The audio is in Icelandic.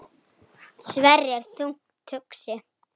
Svenni er þungt hugsi.